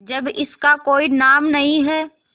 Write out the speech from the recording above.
जब इसका कोई नाम नहीं है